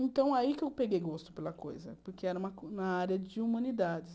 Então, aí que eu peguei gosto pela coisa, porque era na área de humanidades.